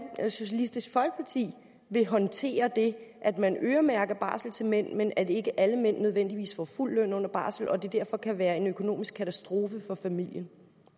socialistisk folkeparti vil håndtere det at man øremærker barsel til mænd men at ikke alle mænd nødvendigvis får fuld løn under barsel og at det derfor kan være en økonomisk katastrofe for familien